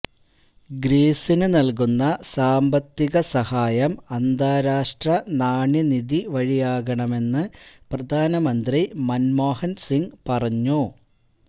ഗ്രീസിന് നല്കുന്ന സാമ്പത്തിക സഹായം അന്താരാഷ്ട്ര നാണ്യ നിധി വഴിയാകണമെന്ന് പ്രധാനമന്ത്രി മന്മ്മോഹന് സിങ് പറഞ്ഞു